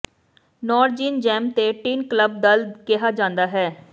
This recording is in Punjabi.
ਨੌਰਜੀਨ ਜੈਮ ਤੇ ਟਿਨ ਕਲੱਬ ਦਲ ਕਿਹਾ ਜਾਂਦਾ ਹੈ